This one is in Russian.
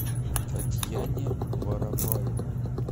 татьяне воропаевой